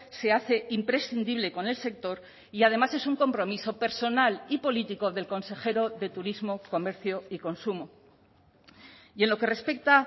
se hace imprescindible con el sector y además es un compromiso personal y político del consejero de turismo comercio y consumo y en lo que respecta